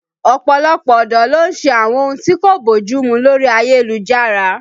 Ọ̀pọ̀lọpọ̀ ọ̀dọ́ ló ń ṣe àwọn ohun tí kò bójú mu lórí ayélujára